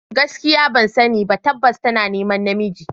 Gaskiya ban sani ba, tabbas tana neman namiji.